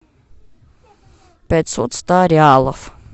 пятьсот ста реалов